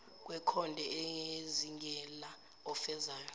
wekhonde ezingela ofezela